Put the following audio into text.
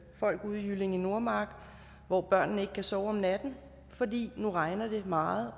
folk ude i jyllinge nordmark hvor børnene ikke kan sove om natten fordi de når det regner meget